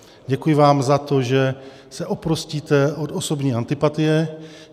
Děkuji vám za to, že se oprostíte od osobní antipatie.